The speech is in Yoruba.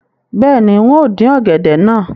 Bẹ́ẹ̀ni, n óò dín ọ̀gẹ̀dẹ̀ náà